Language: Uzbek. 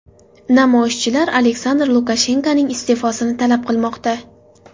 Namoyishchilar Aleksandr Lukashenkoning iste’fosini talab qilmoqda.